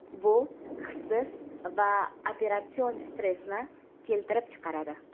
bu hissiy va operatsion stressni keltirib chiqaradi.